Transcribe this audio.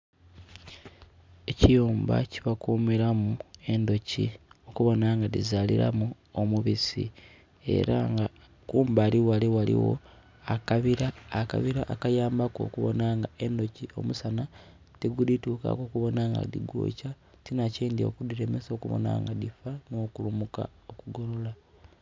Ekiyumba kyebakumiramu endhoki okubonha nga dhizaliramu omubisi era nga kumbali ghale ghaligho akabira, akabira akayambaku okuboona nga endhoki omusanha tigudhitukaku kuboona nga dhigwokya tinhakindhi okudhilemesa okubona nga dhifa no kulumuka okugolola.